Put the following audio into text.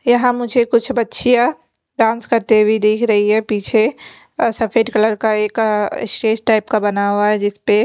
यहाँ मुझे कुछ बछियां डांस करते हुई भी देख रही है पीछे और सफेद कलर का एक अ स्टेज टाइप का बना हुआ है जिस पे --